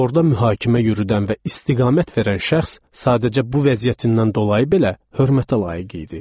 Orda mühakimə yürüdən və istiqamət verən şəxs sadəcə bu vəziyyətindən dolayı belə hörmətə layiq idi.